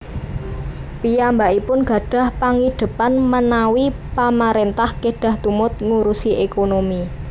Piyambakipun gadhah pangidhepan menawi Pamaréntah kedah tumut ngurusi ékonomi